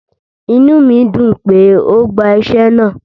Ìnú mi dùn pé o gba iṣẹ̀ náà